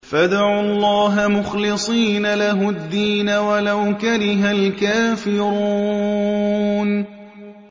فَادْعُوا اللَّهَ مُخْلِصِينَ لَهُ الدِّينَ وَلَوْ كَرِهَ الْكَافِرُونَ